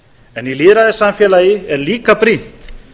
en í lýðræðissamfélagi er líka brýnt